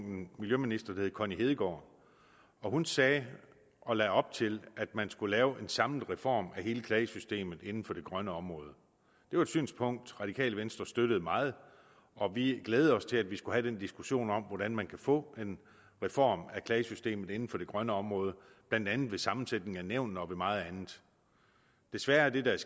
en miljøminister der hed connie hedegaard og hun sagde og lagde op til at man skulle lave en samlet reform af hele klagesystemet inden for det grønne område det var et synspunkt radikale venstre støttede meget og vi glædede os til at vi skulle have den diskussion om hvordan man kunne få en reform af klagesystemet inden for det grønne område blandt andet ved sammensætningen af nævnene og ved meget andet desværre er det der